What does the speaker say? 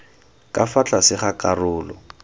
ka fa tlase ga karolo